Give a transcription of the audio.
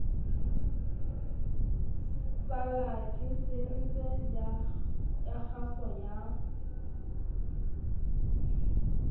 sa lakesense ya kgaso ya